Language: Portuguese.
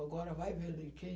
Agora vai ver o de quem.